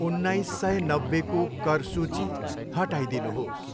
उन्नाइस सय नब्बेको कर सूची हटाइदिनुहोस्।